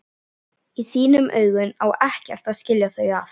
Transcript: Í þínum augum á ekkert að skilja þau að.